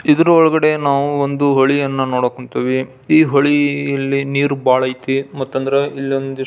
ಇದರ ಒಳಗಡೆ ನಾವು ಒಂದು ಹೋಳಿಯನ್ನು ನೋಡಕ್ ಹೊಂಥಿವಿ ಈ ಹೊಳಿಯಲ್ಲಿ ನೀರು ಬಹಳ ಐತಿ ಮಟ್ಟಾನ್ದ್ರ ಇಲ್ಲಿ ಒಂದಿಷ್ಟು --